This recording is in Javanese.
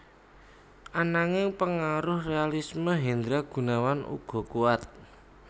Ananging pengaruh realisme Hendra Gunawan uga kuwat